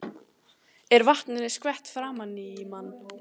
Er vatninu skvett framan í mann.